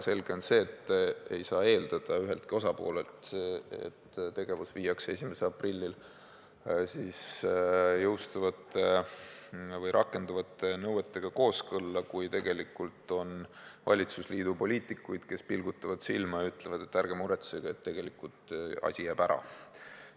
Selge on see, et ei saa eeldada üheltki osapoolelt, et tegevus viiakse 1. aprillil jõustuvate või rakenduvate nõuetega kooskõlla, kui on valitsusliidu poliitikuid, kes pilgutavad silma ja ütlevad, et ärge muretsege, tegelikult asi jääb ära.